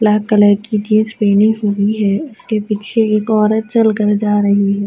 Black colour کی jeans پہنی ہوئی ہے۔ اسکے پیچھے ایک عورت چلکر جا رہی ہے۔